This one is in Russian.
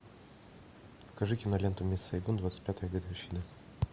покажи киноленту мисс сайгон двадцать пятая годовщина